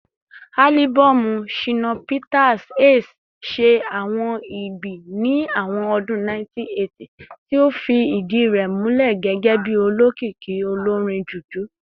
Alibọọmu Shina Peters "Ace" ṣe awọn igbi ni awọn ọdun 1980, ti o fi idi rẹ mulẹ gẹgẹbi olokiki olorin Juju.